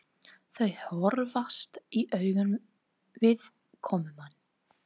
Þau horfast í augu við komumann.